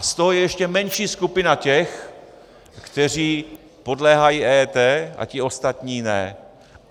A z toho je ještě menší skupina těch, kteří podléhají EET, a ti ostatní ne.